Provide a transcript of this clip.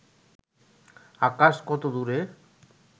আকাশ কত দূরে